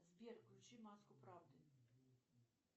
сбер включи маску правды